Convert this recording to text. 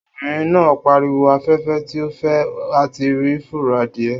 Obìnrin náà pariwo 'afẹ́fẹ́ ti fẹ́ a ti rí fùrọ̀ adìẹ'